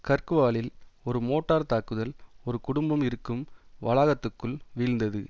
கர்க்வாலில் ஒரு மோட்டார் தாக்குதல் ஒரு குடும்பம் இருக்கும் வளாகத்துக்குள் வீழ்ந்தது